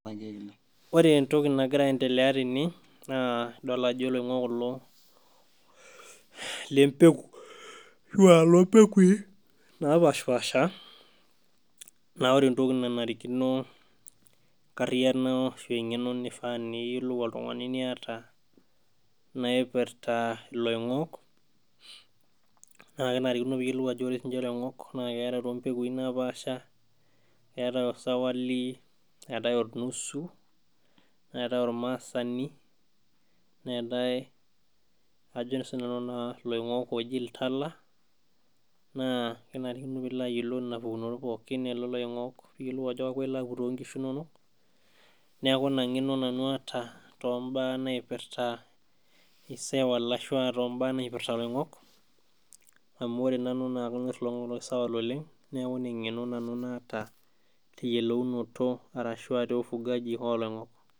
Ore entoki nagira aendelea tene naa idol ajo iloing'ok kulo lempeku ashau lompekui napashipasha naa ore entoki nanarikino enkarriyiano ashu eng'eno nifaa niyiolou oltung'ani niyata naipirta iloing'ok naa kenarikino piyiolou ajo ore sininche iloing'ok naa keetae ilompekui napaasha keetae osaiwali neetae ornusu neetae ormaasani neetae ajo sinanu naa iloing'ok ooji iltala naa kenarikino piilo ayiolou nena pukunot pookin elelo oing'ok piyiolou ajo kalo ilo aputoki inkishu inonok neeku ina ng'eno nanu aata tombaa naipirta isaiwal ashua tombaa naipirta iloing'ok amu ore nanu naa kanyorr iloing'ok loo saiwal oleng neeku ina eng'eno nanu naata teyiolounoto arashua te ufugaji oloing'ok.